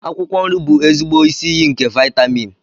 akwụkwọ nri bụ ezigbo isi iyi nke vitamin